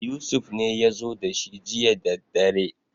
Yusuf ne ya zo da shi jiya daddadre